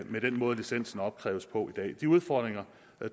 i den måde licensen opkræves på i dag de udfordringer